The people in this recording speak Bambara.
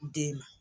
Den ma